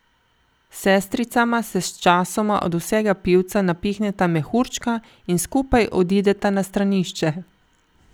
Sestricama se sčasoma od vsega pivca napihneta mehurčka in skupaj odideta na stranišče.